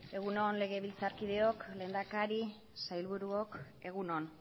egun on legebiltzarkideok lehendakari sailburuok egun on